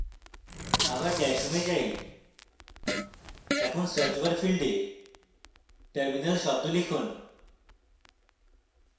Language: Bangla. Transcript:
আবার dash home এ যাই এখন search বার ফীল্ডে terminal শব্দ লিখুন